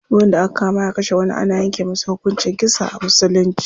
Duk wanda aka kama ya kashe wani ana yanke masa hukuncin kisa a musulunci.